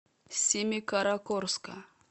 семикаракорска